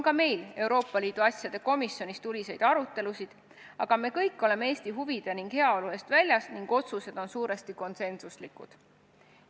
Ka meil Euroopa Liidu asjade komisjonis on tuliseid arutelusid, aga me kõik oleme Eesti huvide ning heaolu eest väljas ning otsused on suuresti konsensuslikud.